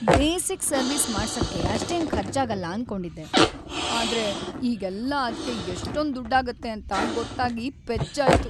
Basic service ಮಾಡ್ಸಕ್ಕೆ ಅಷ್ಟೇನ್‌ ಖರ್ಚಾಗಲ್ಲ ಅನ್ಕೊಂಡಿದ್ದೆ, ಆದ್ರೆ ಈಗೆಲ್ಲ ಅದ್ಕೇ ಎಷ್ಟೊಂದ್‌ ದುಡ್ಡಾಗತ್ತೆ ಅಂತ ಗೊತ್ತಾಗಿ ಪೆಚ್ಚಾಯ್ತು.